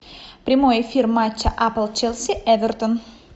прямой эфир матча апл челси эвертон